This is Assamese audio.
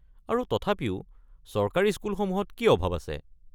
আৰু তথাপিও চৰকাৰী স্কুলসমূহত কি অভাৱ আছে?